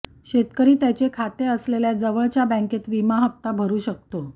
शेतकरी त्याचे खाते असलेल्या जवळच्या बँकेत विमा हप्ता भरू शकतो